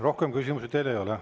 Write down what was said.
Rohkem küsimusi teile ei ole.